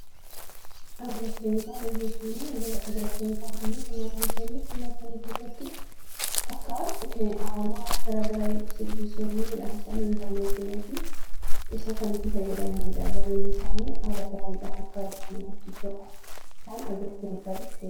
Agiroo keemikaala jechuuni agiroo keemikaaloonni qonnaan bultoonni qonna isaanii keessatti akka aramaan wal gargaraan yookiin simbirroonni midhaan saani hin balleessinee fi isa kan itti fayyadamaniidha. Galiin isaanii haala gaariidhaan akka argatan...